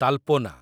ତାଲପୋନା